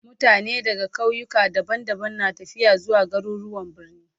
Mutane daga kauyuka daban-daban na tafiya zuwa garuruwan birni